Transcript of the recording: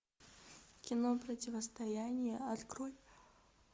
кино противостояние открой